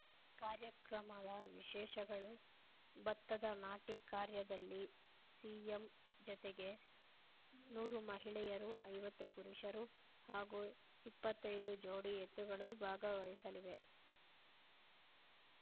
ಕಾರ್ಯಕ್ರಮದ ವಿಶೇಷಗಳು ಭತ್ತದ ನಾಟಿ ಕಾರ್ಯದಲ್ಲಿ ಸಿಎಂ ಜತೆಗೆ ನೂರು ಮಹಿಳೆಯರು ಐವತ್ತು ಪುರುಷರು ಹಾಗೂ ಇಪ್ಪತ್ತೈದು ಜೋಡಿ ಎತ್ತುಗಳೂ ಭಾಗವಹಿಸಲಿವೆ